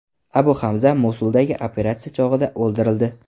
Abu Hamza Mosuldagi operatsiya chog‘ida o‘ldirildi.